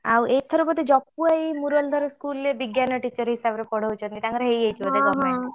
ଆଉ ଏଥର ବୋଧେ ଜପୁ ଭାଇ ମୁରଲିଧର school ରେ ବିଜ୍ଞାନ teacher ହିସାବରେ ପଢଉଛନ୍ତି ତାଙ୍କର ହେଇଯାଇଛି ବୋଧେ।